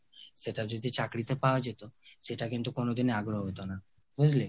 সেটা যদি চাকরিতে পাওয়া যেত সেটা কিন্তু কোনোদিনই আগ্রহ হতো না, বুঝলি?